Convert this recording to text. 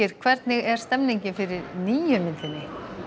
hvernig er stemningin fyrir nýju myndinni